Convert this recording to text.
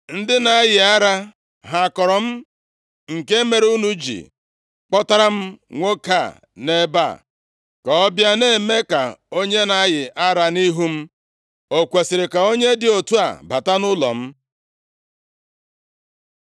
Ndị na-ayị ara ha kọrọ m, nke mere unu ji kpọtara m nwoke a nʼebe a ka ọ bịa na-eme ka onye na-ayị ara nʼihu m? O kwesiri ka onye dị otu a bata nʼụlọ m?”